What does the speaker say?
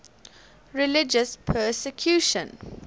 religious persecution